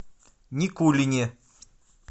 никулине